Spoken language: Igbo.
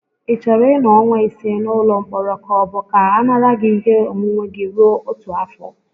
Ị chọrọ ịnọ ọnwa ise n'ụlọ mkpọrọ ka ọ bụ ka a nara gị ihe onwunwe gị rue otu afọ?